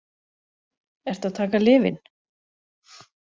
Ertu að taka lyfin?